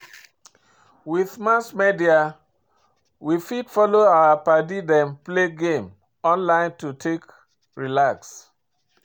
With Mass media we fit follow our padi them play game online to take relax